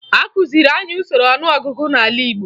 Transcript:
Akụziri anyị usoro ọnụọgụgụ n'ala Igbo